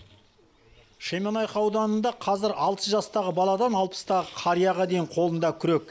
шемонайха ауданында қазір алты жастағы баладан алпыстағы қарияға дейін қолында күрек